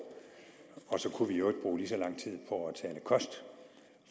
og så kunne vi i øvrigt bruge lige så lang tid på at tale kost